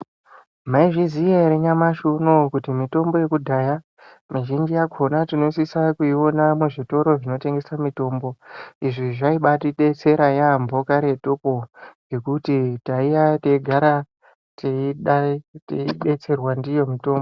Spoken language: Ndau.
Maizviziya ere nyamashi unou kuti mitombo yekudhaya mizhinji yakhona tinosisa kuiona muzvitoro zvinotengeswe mitombo, izvi zvaiba atibetsera yeyambo karetuko ngekuti taiya teigara teidai teidetserwa ndiyo mitombo.